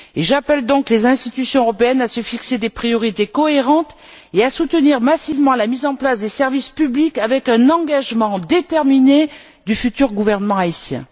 J'appelle donc les institutions européennes à se fixer des priorités cohérentes et à soutenir massivement la mise en place des services publics avec un engagement déterminé du futur gouvernement haïtien.